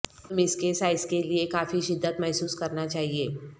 تم اس کے سائز کے لئے کافی شدت محسوس کرنا چاہئے